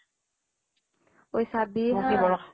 "অ""ই চাবি হা "